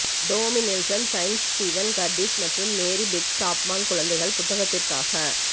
Tomy Nelson signs Steven Curtis மற்றும் Mary Beth Chapman குழந்தைகள் புத்தகத்திற்காக